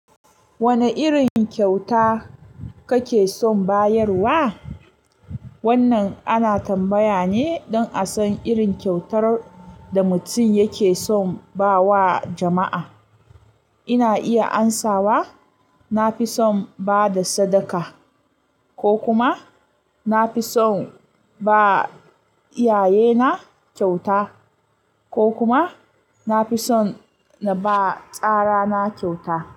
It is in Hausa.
Wane irin kyauta kake son bayarwa? Wannan ana tambaya ne don a san irin kyautar da mutum yake son ba wa jama'a. Ina iya amsawa na fi son ba da sadaka, ko kuma na fi son ba iyaye na kyauta, ko kuma na fi son na ba tsara na kyauta.